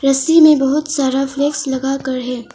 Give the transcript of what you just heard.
रस्सी में बहुत सारा फ्लैग लगाकर है।